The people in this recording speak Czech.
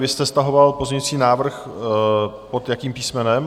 Vy jste stahoval pozměňovací návrh pod jakým písmenem?